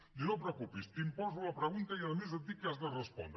diu no et preocupis t’imposo la pregunta i a més et dic què hi has de respondre